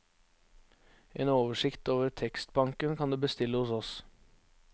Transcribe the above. En oversikt over tekstbanken kan du bestille hos oss.